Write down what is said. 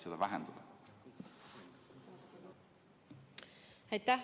Aitäh!